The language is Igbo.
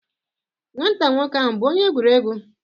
nwata nwoke ahu bu onye egwuregwu?